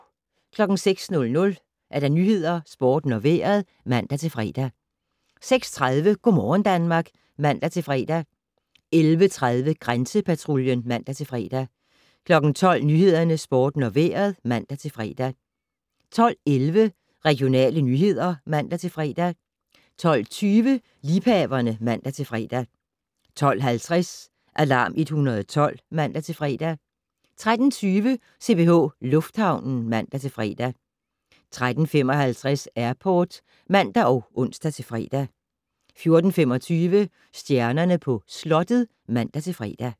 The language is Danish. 06:00: Nyhederne, Sporten og Vejret (man-fre) 06:30: Go' morgen Danmark (man-fre) 11:30: Grænsepatruljen (man-fre) 12:00: Nyhederne, Sporten og Vejret (man-fre) 12:11: Regionale nyheder (man-fre) 12:20: Liebhaverne (man-fre) 12:50: Alarm 112 (man-fre) 13:20: CPH Lufthavnen (man-fre) 13:55: Airport (man og ons-fre) 14:25: Stjernerne på Slottet (man-fre)